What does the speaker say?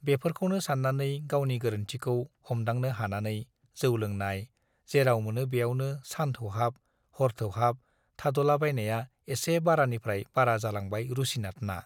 बेफोरखौनो सान्नानै, गावनि गोरोन्थिखौ हमदांनो हानानै जौ लोंनाय, जेराव मोनो बेयावनो सान थौहाब, हर थौहाब थाद'लाबायनाया एसे बारानिफ्राइ बारा जालांबाय रुसिनाथना।